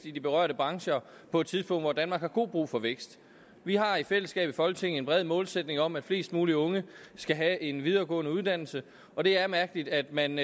i de berørte brancher på et tidspunkt hvor danmark har god brug for vækst vi har i fællesskab i folketinget en bred målsætning om at flest mulige unge skal have en videregående uddannelse og det er mærkeligt at man